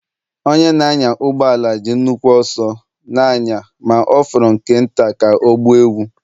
Onye na-anya ụgbọ ala ji nnukwu ọsọ na-anya ma ọ fọrọ nke nta ka ọ gbuo ewu.